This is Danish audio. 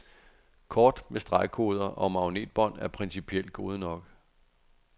Kort med stregkoder og magnetbånd er principielt gode nok.